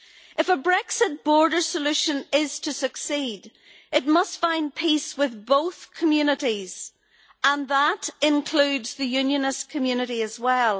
If a Brexit border solution is to succeed, it must find peace with both communities, and that includes the unionist community as well.